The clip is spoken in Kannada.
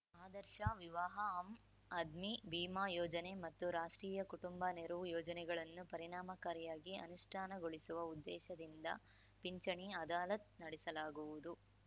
ಆದರ್ಶ ವಿವಾಹಆಮ್‌ ಆದ್ಮಿ ಭೀಮಾ ಯೋಜನೆ ಮತ್ತು ರಾಷ್ಟ್ರೀಯ ಕುಟುಂಬ ನೆರವು ಯೋಜನೆಗಳನ್ನು ಪರಿಣಾಮಕಾರಿಯಗಿ ಅನುಷ್ಠಾನಗೊಳಿಸುವ ಉದ್ದೇಶದಿಂದ ಪಿಂಚಣಿ ಅದಾಲತ್‌ ನಡೆಸಲಾಗುವುದು